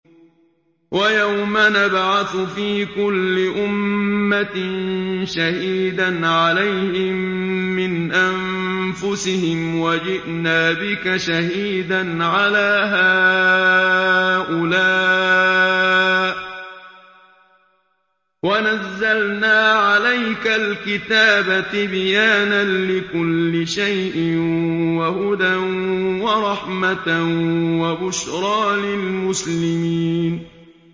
وَيَوْمَ نَبْعَثُ فِي كُلِّ أُمَّةٍ شَهِيدًا عَلَيْهِم مِّنْ أَنفُسِهِمْ ۖ وَجِئْنَا بِكَ شَهِيدًا عَلَىٰ هَٰؤُلَاءِ ۚ وَنَزَّلْنَا عَلَيْكَ الْكِتَابَ تِبْيَانًا لِّكُلِّ شَيْءٍ وَهُدًى وَرَحْمَةً وَبُشْرَىٰ لِلْمُسْلِمِينَ